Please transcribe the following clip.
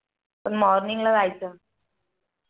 पण Morning ला जायचं